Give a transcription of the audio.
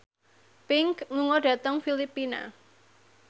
Pink lunga dhateng Filipina